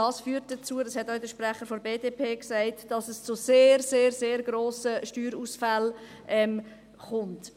Wie der Sprecher der BDP gesagt hat, führt dies zu sehr, sehr grossen Steuerausfällen.